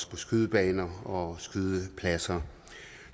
på skydebaner og skydepladser